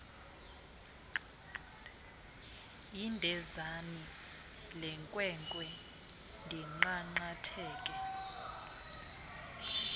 indenzani lenkwenkwe ndinqanqatheke